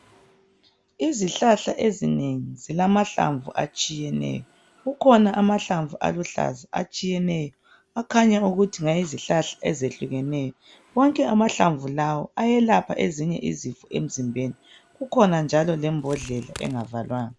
Izihlahla ezinengi zilamahlamvu atshiyeneyo. Kukhona amahlamvu aluhlaza atshiyeneyo akhanya ukuthi ngawezihlahla ezehlukeneyo. Wonke amahlamvu lawa ayelapha ezinye izifo emzimbeni. Kukhona njalo lembodlela engavalwanga.